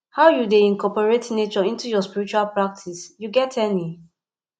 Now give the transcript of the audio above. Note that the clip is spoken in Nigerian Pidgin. how you dey incorporate nature into your spiritual practice you get any